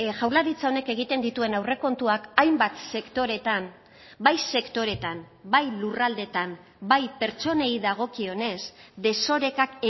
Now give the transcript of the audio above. jaurlaritza honek egiten dituen aurrekontuak hainbat sektoretan bai sektoretan bai lurraldetan bai pertsonei dagokionez desorekak